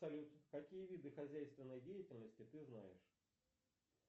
салют какие виды хозяйственной деятельности ты знаешь